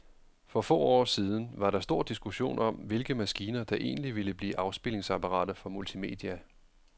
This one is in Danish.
For få år siden var der stor diskussion om, hvilke maskiner, der egentlig ville blive afspilningsapparater for multimedia.